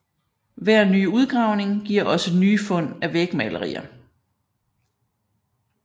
Hver ny udgravning giver også nye fund af vægmalerier